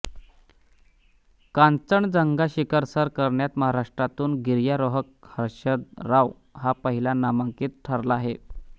कांचनजंगा शिखर सर करण्यात महाराष्ट्रातून गिर्यारोहक हर्षद राव हा पहिला मानांकित ठरला आहे